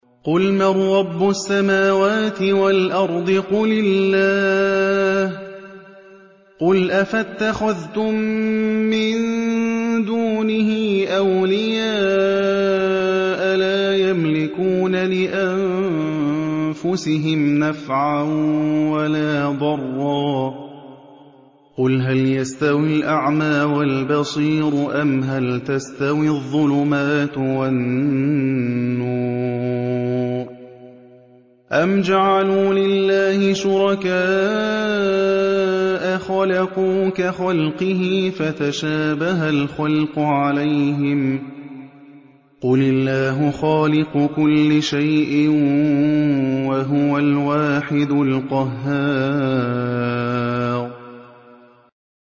قُلْ مَن رَّبُّ السَّمَاوَاتِ وَالْأَرْضِ قُلِ اللَّهُ ۚ قُلْ أَفَاتَّخَذْتُم مِّن دُونِهِ أَوْلِيَاءَ لَا يَمْلِكُونَ لِأَنفُسِهِمْ نَفْعًا وَلَا ضَرًّا ۚ قُلْ هَلْ يَسْتَوِي الْأَعْمَىٰ وَالْبَصِيرُ أَمْ هَلْ تَسْتَوِي الظُّلُمَاتُ وَالنُّورُ ۗ أَمْ جَعَلُوا لِلَّهِ شُرَكَاءَ خَلَقُوا كَخَلْقِهِ فَتَشَابَهَ الْخَلْقُ عَلَيْهِمْ ۚ قُلِ اللَّهُ خَالِقُ كُلِّ شَيْءٍ وَهُوَ الْوَاحِدُ الْقَهَّارُ